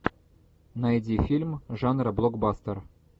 найди фильм жанра блокбастер